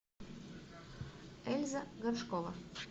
эльза горшкова